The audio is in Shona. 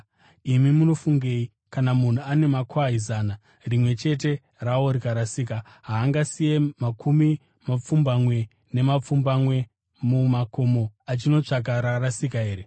“Imi munofungei? Kana munhu ane makwai zana, rimwe chete rawo rikarasika, haangasiye makumi mapfumbamwe nepfumbamwe mumakomo achinotsvaka rakarasika here?